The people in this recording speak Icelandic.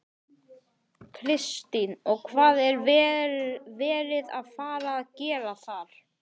Kristín: Og hvað er verið að fara að gera þar?